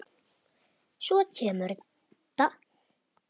Svo kemur þetta